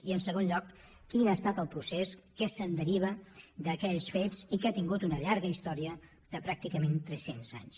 i en segon lloc quin ha estat el procés que se’n deriva d’aquells fets i que ha tingut una llarga història de pràcticament tres cents anys